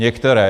Některé.